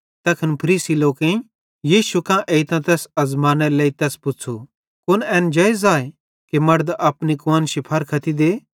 तैखन फरीसी लोकेईं यीशु कां एइतां तैस आज़मानेरे लेइ तैस पुच़्छ़ू कुन एन जेइज़ आए कि मड़द अपनी कुआन्शी फारख्ती दे